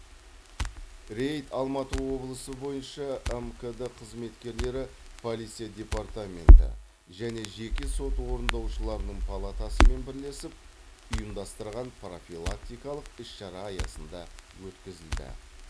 рейд алматы облысы бойынша мкд қызметкерлері полиция департаменті және жеке сот орындаушыларының палатасымен бірлесіп ұйымдастырған профилактикалық іс шара аясында өткізілді